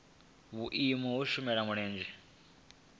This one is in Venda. vhuimo ha u shela mulenzhe